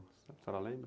A senhora lembra?